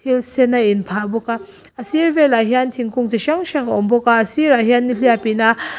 thil sen a inphah bawka a sir vel ah hian thingkung chi hrang hrang a awm bawka a sir ah hian nihliap ina.